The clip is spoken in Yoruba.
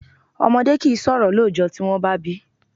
Ọmọdé kìí sọ̀rọ̀ lọ́jọ́ tí wọ́n bá bíi.